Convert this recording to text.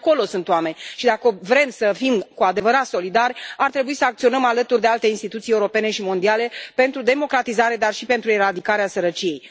Și acolo sunt oameni și dacă vrem să fim cu adevărat solidari ar trebui să acționăm alături de alte instituții europene și mondiale pentru democratizare, dar și pentru eradicarea sărăciei.